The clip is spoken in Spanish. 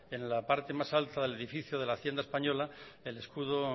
en la parte más alta del edificio de la hacienda española el escudo